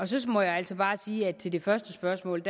så må jeg altså bare sige til det første spørgsmål